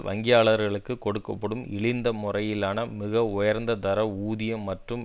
வங்கியாளர்களுக்கு கொடுக்க படும் இழிந்த முறையிலான மிக உயர்ந்த தர ஊதியம் மற்றும்